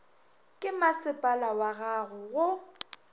ke masepala wag ago go